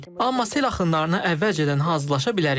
Amma sel axınlarına əvvəlcədən hazırlaşa bilərik.